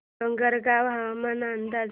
डोंगरगाव हवामान अंदाज